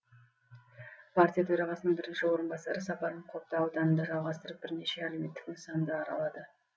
партия төрағасының бірінші орынбасары сапарын қобда ауданында жалғастырып бірнеше әлеуметтік нысанды аралады